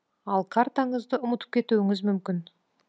ал картаңызды ұмытып кетуіңіз мүмкін